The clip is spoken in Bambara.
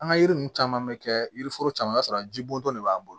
An ka yiri ninnu caman bɛ kɛ yiri foro caman o y'a sɔrɔ jibontɔ de b'an bolo